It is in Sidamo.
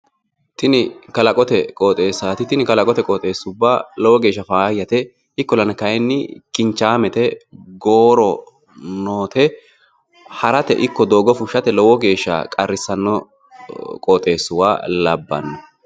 Tini kalaqote qooxeessaati. Tini kalaqote qooxeesuubba lowo geeshsha faayyate. Ikkollana kayinni kinchaamete gooro noote harate ikko doogo fushshate lowo geeshsha qarrissanno qooxeessuwwa labbanno.